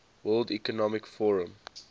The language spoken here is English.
world economic forum